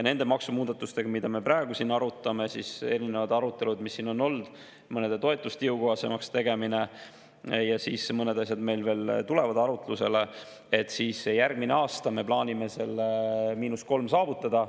Nende maksumuudatustega, mida me praegu siin arutame – erinevad arutluse all, mis on olnud mõnede toetuste jõukohasemaks tegemiseks, ja mõned asjad meil veel tulevad arutlusele –, me järgmisel aastal plaanime selle –3 saavutada.